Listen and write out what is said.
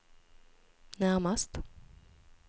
närmast